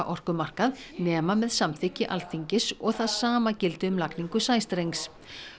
orkumarkað nema með samþykki Alþingis og það sama gildi um lagningu sæstrengs